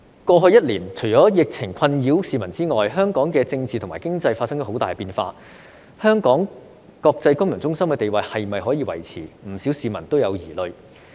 過去一年，除了疫情困擾市民之外，香港的政治和經濟亦發生了很大的變化，香港國際金融中心地位是否可以維持，不少市民都有疑慮。